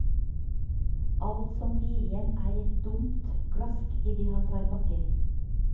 Alt som blir igjen er et dumpt klask idet han tar bakken.